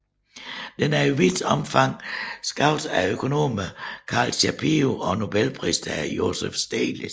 Den er i vidt omfang skabt af økonomerne Carl Shapiro og Nobelpristageren Joseph Stiglitz